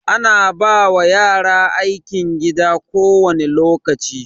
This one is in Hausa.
Ana ba yara aikin gida kowane lokaci.